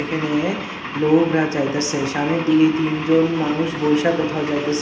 এখেনে লোগরা যাইতাসে শানের দিকে এই তিনজন মানুষ বইসা কোথাও যাইতাসে --